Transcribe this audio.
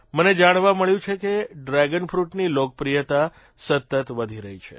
મને જાણવા મળ્યું છે કે ડ્રેગન ફ્રૂટની લોકપ્રિયતા સતત વધી રહી છે